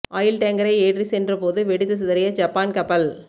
oil டேங்கரை ஏற்றி சென்ற போது வெடித்து சிதறிய ஜப்பான் கப்பல்